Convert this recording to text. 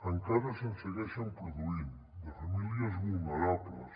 encara se’n segueixen produint de famílies vulnerables